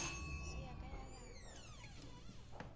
se ya ka ya latwa